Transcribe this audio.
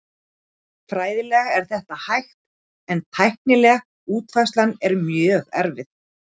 Fræðilega er þetta hægt en tæknileg útfærsla er mjög erfið.